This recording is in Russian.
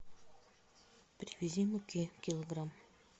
привези муки килограмм